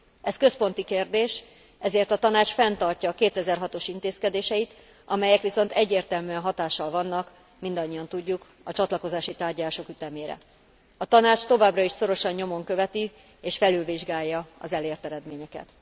Ez központi kérdés, ezért a Tanács fenntartja a 2006 os intézkedéseit, amelyek viszont egyértelműen hatással vannak mindannyian tudjuk a csatlakozási tárgyalások ütemére. A Tanács továbbra is szorosan nyomon követi és felülvizsgálja az elért eredményeket.